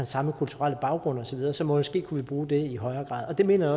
samme kulturelle baggrund og så videre så måske kunne vi bruge det i højere grad og det mener